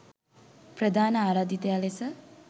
ප්‍රධාන ආරාධිතයා ලෙස